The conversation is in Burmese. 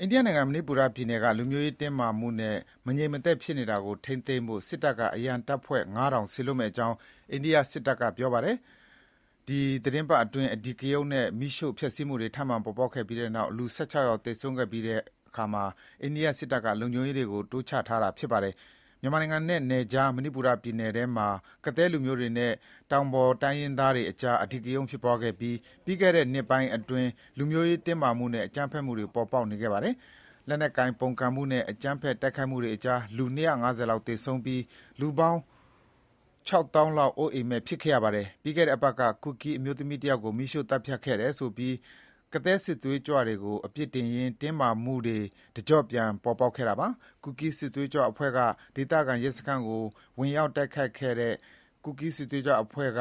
အိန္ဒိယနိုင်ငံ၊ မဏိပူပြည်နယ်က လူမျိုးရေးတင်းမာမှုတွေနဲ့ မငြိမ်မသက်ဖြစ်နေတာထိန်းဖို့ စစ်တပ်က အရံတပ်ဖွဲ့ ၅,၀၀၀ စေလွှတ်မယ့်အကြောင်း အိန္ဒိယစစ်တပ်ကပြောပါတယ်။ ဒီသတင်းပတ်အတွင်း အဓိကရုဏ်းနဲ့ မီးရှို့ဖျက်ဆီးမှုတွေ ထပ်မံပေါ်ပေါက်ခဲ့ပြီး လူ ၁၆ ယောက် သေဆုံးခဲ့ပြီးတဲ့နောက် အိန္ဒိယစစ်တပ်က လုံခြုံရေးတွေ တိုးချထားတာပါ။ မြန်မာနိုင်ငံနဲ့ နယ်ခြား မဏိပူပြည်နယ်ထဲမှာ ကသည်းလူမျိုးတွေနဲ့ တောင်ပေါ်သားတိုင်းရင်းသားတွေ ကြား အဓိကရုဏ်းဖြစ်ခဲ့ပြီး ပြီးခဲ့တဲ့နှစ်ပိုင်းအတွင်း လူမျိုးရေးတင်းမာမှုနဲ့ အကြမ်းဖက်မှုတွေ ပေါ်ပေါက်နေခဲ့ပါတယ်။ လက်နက်ကိုင်ပုန်ကုန်မှုနဲ့ အကြမ်းဖက်တိုက်ခိုက်မှုတွေကြောင့် လူ ၂၅၀ လောက်သေဆုံးပြီး လူပေါင်း ခြောက်သောင်းလောက် အိုးမဲ့အိမ်မဲ့ ဖြစ်ခဲ့ရပါတယ်။ ပြီးခဲ့တဲ့အပတ်က ကူကီး အမျိုးသမီးတယောက်ကိုမီးရှို့သတ်ဖြတ်ခဲ့တယ်ဆိုပြီး ကသည်းစစ်သွေးကြွ တွေကို အပြစ်တင်ရင်း တင်းမာမှုတွေ တကြော့ပြန် ပေါ်ပေါက်ခဲ့တာပါ။ ဒေသခံရဲစခန်းကိုဝင်တိုက်ခဲ့တဲ့ ကူကီးစစ်သွေးကြွအဖွဲ့ဝ